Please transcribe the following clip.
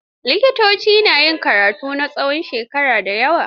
Likitoci na yin karatu na tsawon shekaru da yawa.